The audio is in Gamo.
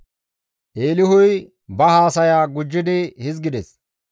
Eelihuy ba haasaya gujjidi hizgides;